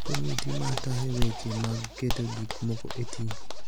Komiti ma tayo weche mag keto gik moko e tim